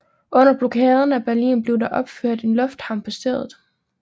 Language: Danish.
Under blokaden af Berlin blev der opført en lufthavn på stedet